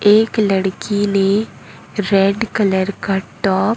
एक लड़की ने रेड कलर का टॉप --